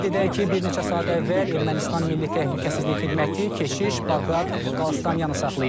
Qeyd edək ki, bir neçə saat əvvəl Ermənistan Milli Təhlükəsizlik Xidməti keçmiş Baqrat Qalstanyanı saxlayıb.